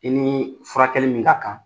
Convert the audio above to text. I ni furakɛli min ka kan